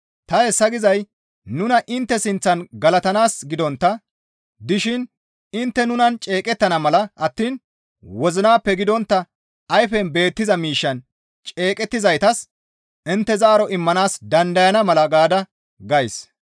Ta hessa gizay nuna intte sinththan galatanaas gidontta dishin intte nunan ceeqettana mala attiin wozinappe gidontta ayfen beettiza miishshan ceeqettizaytas intte zaaro immanaas dandayana mala gaada gays.